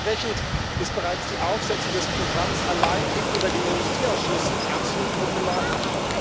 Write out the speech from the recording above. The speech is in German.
Entsprechend ist bereits die Aufsetzung des Programms allein eben über den Industrieausschuss absolut problematisch.